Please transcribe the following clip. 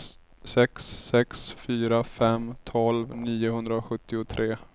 sex sex fyra fem tolv niohundrasjuttiotre